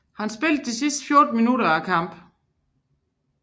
Han spillede de sidste 14 minutter af kampen